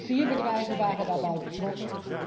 Vier bedrijven waren daarbij betrokken.